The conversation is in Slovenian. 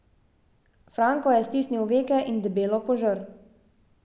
Franko je stisnil veke in debelo požrl.